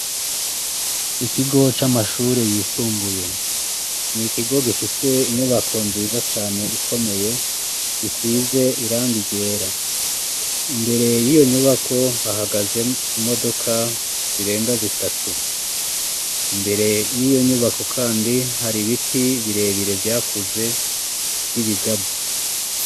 Ikigo c'amashure yisumbuye. Ni ikigo gifise inyubako nziza cane ikomeye gisize irangi ryera. Imbere y'iyo nyubako hahagaze imodoka zirenga zitatu. Imbere y'iyo nyubako kandi hari ibiti birebire vyakuze vy'ibigazi.